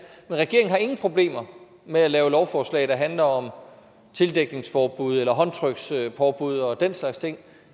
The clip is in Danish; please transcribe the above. men regeringen har ingen problemer med at lave lovforslag der handler om tildækningsforbud eller håndtrykspåbud og den slags ting